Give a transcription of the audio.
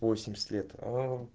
восемьдесят лет аа